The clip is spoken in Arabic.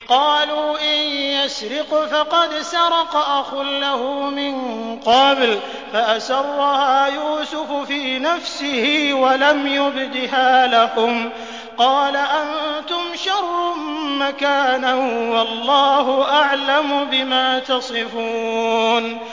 ۞ قَالُوا إِن يَسْرِقْ فَقَدْ سَرَقَ أَخٌ لَّهُ مِن قَبْلُ ۚ فَأَسَرَّهَا يُوسُفُ فِي نَفْسِهِ وَلَمْ يُبْدِهَا لَهُمْ ۚ قَالَ أَنتُمْ شَرٌّ مَّكَانًا ۖ وَاللَّهُ أَعْلَمُ بِمَا تَصِفُونَ